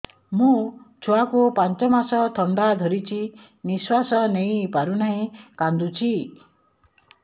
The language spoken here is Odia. ମୋ ଛୁଆକୁ ପାଞ୍ଚ ମାସ ଥଣ୍ଡା ଧରିଛି ନିଶ୍ୱାସ ନେଇ ପାରୁ ନାହିଁ କାଂଦୁଛି